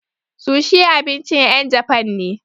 Sushi abincin ƴen japan ne.